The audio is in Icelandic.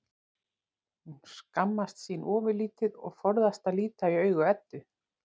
Hún skammast sín ofurlítið og forðast að líta í augu Eddu.